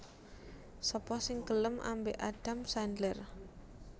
Sapa sing gelem ambek Adam Sandler